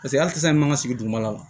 Paseke hali sisan i man ka sigi dugumala la